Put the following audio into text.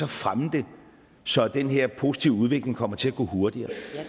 fremme det så den her positive udvikling kommer til at gå hurtigere